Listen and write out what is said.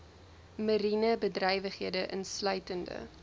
mariene bedrywighede insluitende